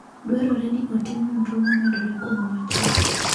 Dwarore ni otim nonro momedore kuom wachni.